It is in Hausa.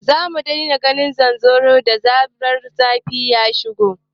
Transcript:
Za a daina ganin zanzaro da zarar zafi ya shigo